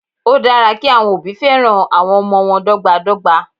Ó dára kí àwọn òbí féràn àwọn ọmọ wọn dọ́gba dọ́gba.